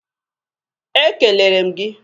E kelele m gị.